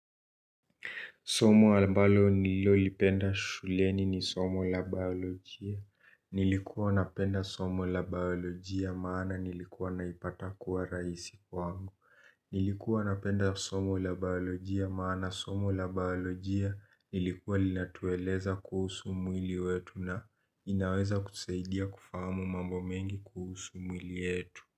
Somo ambalo nilolipenda shuleni ni somo la baolojia. Nilikuwa napenda somo la baolojia maana nilikuwa naipata kuwa raisi kwa angu. Nilikuwa napenda somo la baolojia maana somo la baolojia nilikuwa linatueleza kuhusu mwili wetu na inaweza kusaidia kufahamu mambo mengi kuhusu mwili yetu.